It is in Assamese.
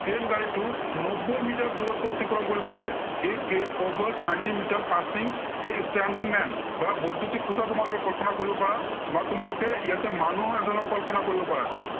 train গাড়ীটো নব্বৈ মিটাৰ দূৰত্ব অতিক্ৰম কৰিব লাগে। A train covers ninety meter passing a standing man বা বৈদ্য়ুতিক খুটা তোমালোকে কল্পনা কৰিব পাৰা বা তোমালোকে ইয়াতে মানুহ এজনক কল্পনা কৰিব পাৰা।